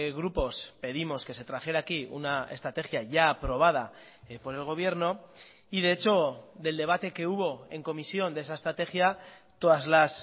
grupos pedimos que se trajera aquí una estrategia ya aprobada por el gobierno y de hecho del debate que hubo en comisión de esa estrategia todas las